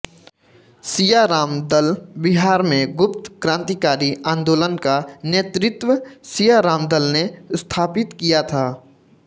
सियाराम दल बिहार में गुप्त क्रान्तिकारी आन्दोलन का नेतृत्व सियाराम दल ने स्थापित किया था